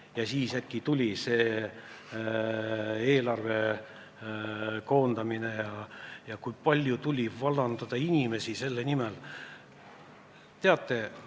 Ja siis äkki tuli eelarve koondamine – kui palju tuli vallandada inimesi selle pärast!